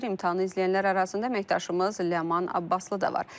İmtahanı izləyənlər arasında əməkdaşımız Ləman Abbaslı da var.